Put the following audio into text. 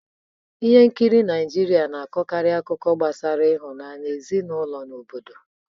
Ihe nkiri Naịjirịa na-akọkarị akụkọ gbasara ịhụnanya, ezinụlọ na obodo.